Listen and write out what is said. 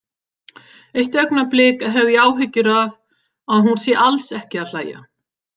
Eitt augnablik hef ég áhyggjur af að hún sé alls ekki að hlæja.